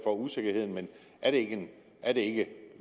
er usikkerhed men er det ikke